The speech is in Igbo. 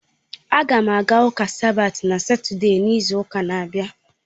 A ga m aga ụka sabat na Satọde n'izu ụka na-abịa.